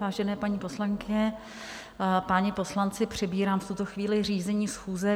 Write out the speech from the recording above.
Vážené paní poslankyně, páni poslanci, přebírám v tuto chvíli řízení schůze.